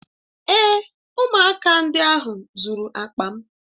Èé, ụmụaka ndị ahụ zuru akpa m.